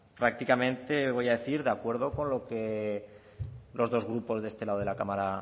prácticamente voy a decir de acuerdo con lo que los del grupo de este lado de la cámara